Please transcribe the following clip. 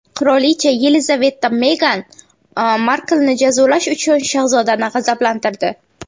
Qirolicha Yelizaveta Megan Marklni jazolash uchun shahzodani g‘azablantirdi.